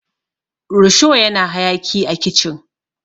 rusho yana hayaki a kicin